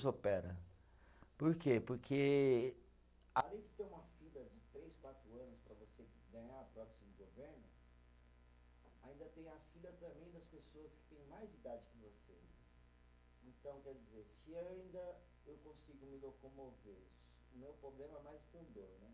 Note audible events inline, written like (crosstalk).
Operam, por quê? Porque. (unintelligible) Além de ter uma fila de três, quatro anos para você ganhar a prótese do governo, ainda tem a fila também das pessoas que têm mais idade que você. Então, quer dizer, se ainda eu consigo me locomover, o meu problema é mais com dor, né?